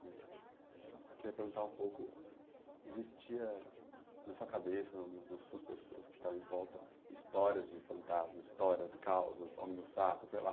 Queria perguntar um pouco, existia na sua cabeça, nas suas pessoas que estavam em volta, histórias de fantasmas, histórias, causas, homem do saco, sei lá.